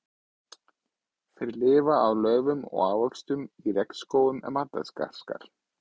Þeir lifa á laufi og ávöxtum í regnskógum Madagaskar.